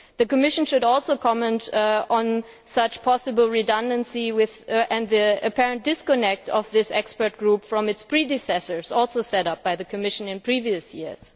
The Commission should also comment on such a possible overlap and the apparent disconnect of this expert group from its predecessors also set up by the Commission in previous years.